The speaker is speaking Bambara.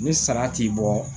Ni sara ti bɔ